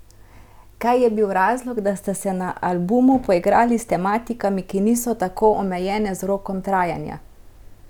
Kaj je bil razlog, da ste se na albumu poigrali s tematikami, ki niso tako omejene z rokom trajanja?